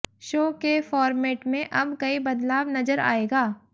show के format में अब कई बदलाव नजर आयेगा